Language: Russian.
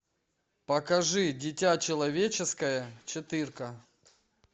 покажи дитя человеческое четырка